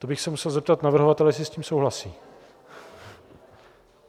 To bych se musel zeptat navrhovatele, jestli s tím souhlasí.